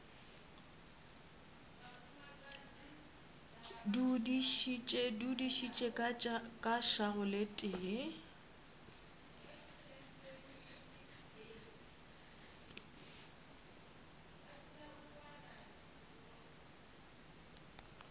dudišitše ka šago le tee